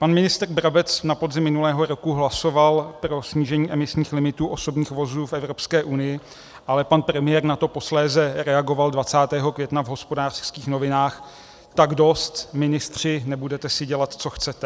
Pan ministr Brabec na podzim minulého roku hlasoval pro snížení emisních limitů osobních vozů v Evropské unii, ale pan premiér na to posléze reagoval 20. května v Hospodářských novinách: "Tak dost, ministři, nebudete si dělat, co chcete!"